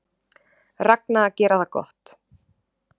Ragna að gera það gott